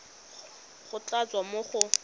go tla tswa mo go